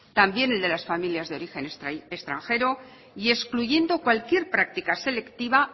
también el de las familias de origen extranjero y excluyendo cualquier práctica selectiva